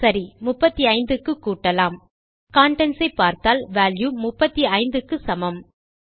சரி 35 க்கு கூட்டலாம் கன்டென்ட்ஸ் ஐ பார்த்தால் வால்யூ 35 க்கு சமம்